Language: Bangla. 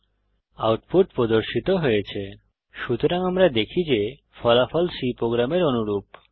এখানে আউটপুট প্রদর্শিত হয়েছে সুতরাং আমরা দেখি যে ফলাফল C প্রোগ্রামের অনুরূপ